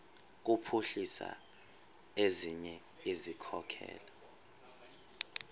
kuphuhlisa ezinye izikhokelo